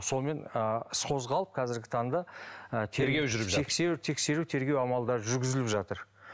сонымен ы іс қозғалып қазіргі таңда ы тексеру тексеру тергеу амалдару жүргізіліп жатыр